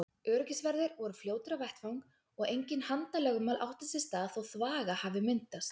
Öryggisverðir voru fljótir á vettvang og engin handalögmál áttu sér stað þó þvaga hafi myndast.